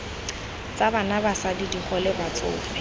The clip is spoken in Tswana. tsa bana basadi digole batsofe